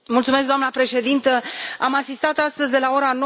Doamnă președintă, am asistat astăzi, de la ora